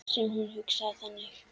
Sem hún hugsaði þannig.